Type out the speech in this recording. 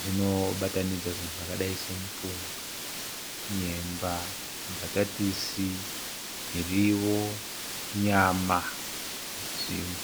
zvinobatanidza zvinhu zvakadai semupunga nyemba mbatatisi mirivo nyama nezvimwe